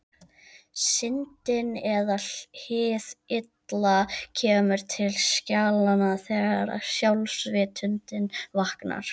Syndin eða hið illa kemur til skjalanna þegar sjálfsvitundin vaknar.